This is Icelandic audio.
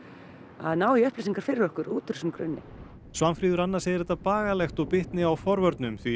að ná í upplýsingar fyrir okkur út úr þessum grunni svana segir þetta bagalegt og það bitni á forvörnum því